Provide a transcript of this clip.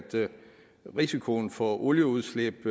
risikoen for olieudslip